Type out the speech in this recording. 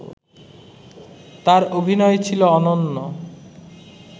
তার অভিনয় ছিল অনন্য